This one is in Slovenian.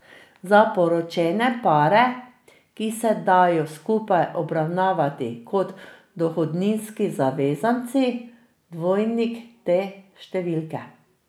Za poročene pare, ki se dajo skupaj obravnavati kot dohodninski zavezanci, dvojnik te številke.